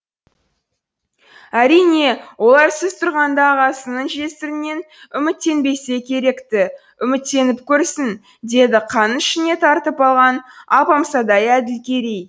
әрине олар сіз тұрғанда ағасының жесірінен үміттенбесе керек ті үміттеніп көрсін деді қанын ішіне тартып алған алпамсадай әділкерей